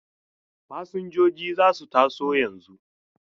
Fasinjojin za su taso yanzu.